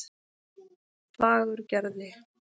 Fagurgerði